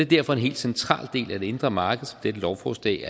derfor en helt central del af det indre marked som dette lovforslag